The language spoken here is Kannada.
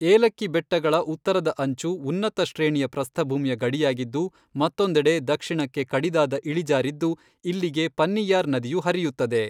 ಏಲಕ್ಕಿ ಬೆಟ್ಟಗಳ ಉತ್ತರದ ಅಂಚು ಉನ್ನತ ಶ್ರೇಣಿಯ ಪ್ರಸ್ಥಭೂಮಿಯ ಗಡಿಯಾಗಿದ್ದು ಮತ್ತೊಂದೆಡೆ ದಕ್ಷಿಣಕ್ಕೆ ಕಡಿದಾದ ಇಳಿಜಾರಾಗಿದ್ದು ಇಲ್ಲಿಗೆ ಪನ್ನಿಯಾರ್ ನದಿಯು ಹರಿಯುತ್ತದೆ.